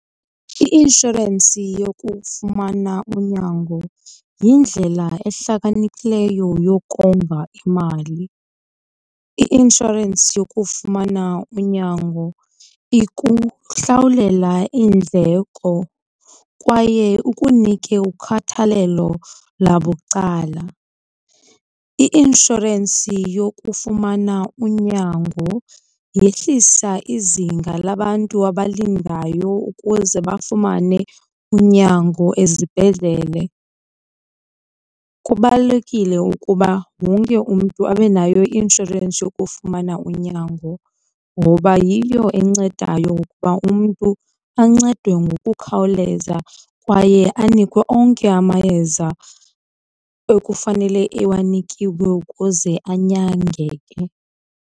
I-inshorensi yokufumana unyango yindlela ehlakaniphileyo yokonga imali. I-inshorensi yokufumana unyango ikuhlawulela iindleko kwaye ikunike ukhathalelo labucala. I-inshorensi yokufumana unyango yehlisa izinga labantu abalidindayo ukuze bafumane unyango ezibhedlele. Kubalulekile ukuba wonke umntu abe nayo i-inshorensi yokufumana unyango ngoba yiyo ebancedayo ukuba umntu ancedwe ngokukhawuleza kwaye anikwe onke amayeza ekufanele ewanikiwe ukuze anyangeke.